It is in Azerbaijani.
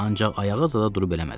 Ancaq ayağa zada durub eləmədim.